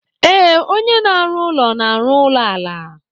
Ee, onye na-arụ ụlọ na-arụ ụlọ ala.